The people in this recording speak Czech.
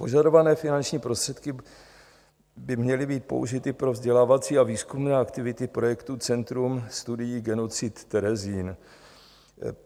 Požadované finanční prostředky by měly být použity pro vzdělávací a výzkumné aktivity projektu Centrum studií genocid Terezín.